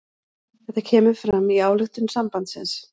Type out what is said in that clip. Þetta kemur fram í ályktun sambandsins